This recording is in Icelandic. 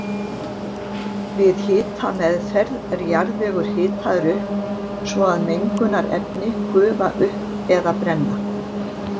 Við hitameðferð er jarðvegur hitaður upp svo að mengunarefni gufa upp eða brenna.